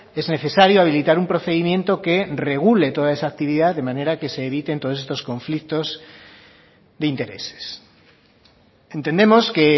es necesario habilitar un procedimiento que regule toda esa actividad de manera que se eviten todos estos conflictos de intereses entendemos que